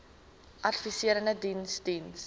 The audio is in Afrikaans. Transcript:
adviserende diens diens